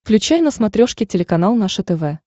включай на смотрешке телеканал наше тв